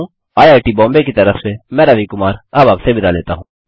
I I T Bombay की तरफ से मैं रवि कुमार अब आपसे विदा लेता हूँ